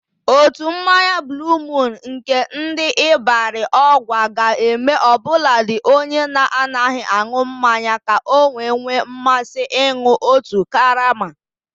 Ụtọ mmanya buuluu muun nke ndị Ibarị Ọgwa ga-eme ọbụladị onye na-anaghị aṅụ mmanya ka o nwee mmasị ịnụ otu karama.